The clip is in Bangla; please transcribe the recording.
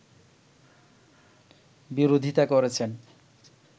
বিরোধিতা করেছেন